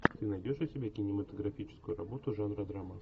ты найдешь у себя кинематографическую работу жанра драма